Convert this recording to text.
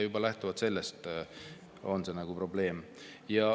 Juba lähtuvalt sellest on probleem.